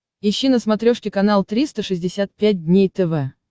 ищи на смотрешке канал триста шестьдесят пять дней тв